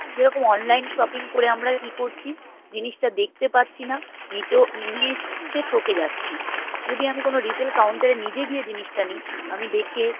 যেরকম online shopping করে আমরা ই করছি জিনিসটা দেখতে পারছি না নিয়ে এসে থেকে যাচ্ছি যদি আমি কোনো retail counter এনিয়ে গিয়ে জিনিসটা নিই আমি দেখে